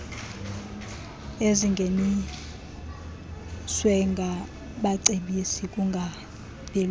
ezingeniaswe ngabacebisi kungabelwana